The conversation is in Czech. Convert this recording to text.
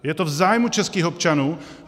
Je to v zájmu českých občanů?